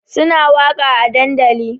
Suna waƙa a dandali